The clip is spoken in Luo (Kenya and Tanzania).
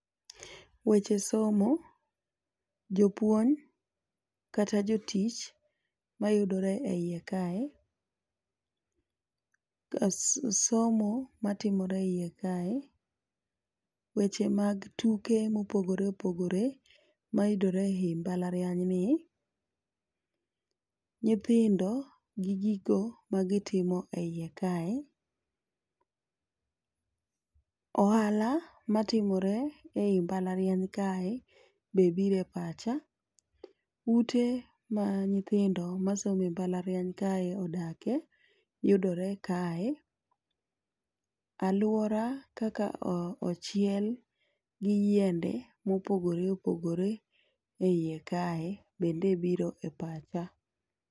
Weche somo, jopuonj kata jotich mayudore eiye kae ,somo matimore eiye kae , weche mag tuke mopogore opogore mayudore e mbalariany ni, nyithindo gi gigo magitimo e iye kae, ohala matimore ei mbalariany kae be bire pacha, ute ma nyithindo masome mbalariany kae odake yudore kae, aluora kaka o ochiel gi yiende mopogore opogore eiye kae bende biro e pacha.